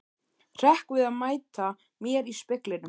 Hrekk við að mæta mér í speglinum.